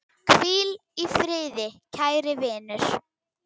Hvíl í friði, kæri vinur!